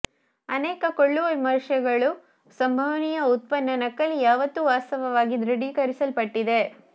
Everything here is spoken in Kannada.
ಅನೇಕ ಕೊಳ್ಳುವ ವಿಮರ್ಶೆಗಳು ಸಂಭವನೀಯ ಉತ್ಪನ್ನ ನಕಲಿ ಯಾವತ್ತು ವಾಸ್ತವವಾಗಿ ದೃಢೀಕರಿಸಲ್ಪಟ್ಟಿದೆ